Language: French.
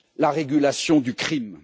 la régulation du crime.